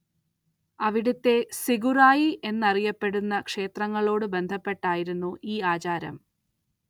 അവിടത്തെ സിഗുറായി എന്നറിയപ്പെടുന്ന ക്ഷേത്രങ്ങളോട് ബന്ധപ്പെട്ടായിരുന്നു ഈ ആചാരം.